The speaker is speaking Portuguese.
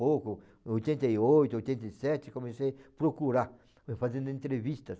pouco, oitenta e oito, oitenta e sete, comecei a procurar, fui fazendo entrevistas.